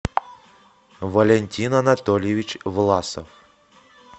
валентин анатольевич власов